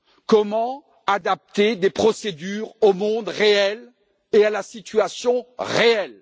Comment adapter des procédures au monde réel et à la situation réelle?